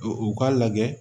U k'a lajɛ